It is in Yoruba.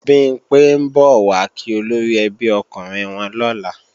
Bimpé ń bọ̀ wá kí olóríẹbí okùnrin wọn lọ́la